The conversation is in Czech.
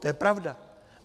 To je pravda.